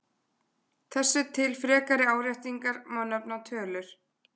Þessu til frekari áréttingar má nefna tölur.